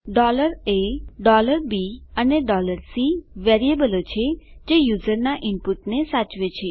a b અને c વેરીએબલો છે જે યુઝરના ઈનપુટને સાચવે છે